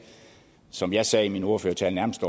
som jeg sagde i min ordførertale nærmest